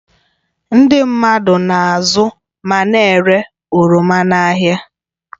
Ndị mmadụ na-azụ ma na-ere oroma n'ahịa